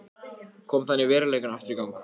Kom þannig veruleikanum aftur í gang.